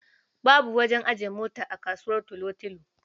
Babu wajen ajiye mota a kasuwar Tulotilo.